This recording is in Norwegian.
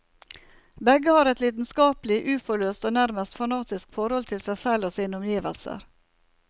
Begge har et lidenskapelig, uforløst og nærmest fanatisk forhold til seg selv og sine omgivelser.